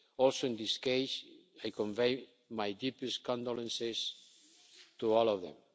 In this case also, I convey my deepest condolences to all of